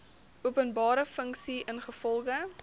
openbare funksie ingevolge